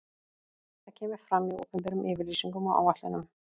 Það kemur fram í opinberum yfirlýsingum og áætlunum.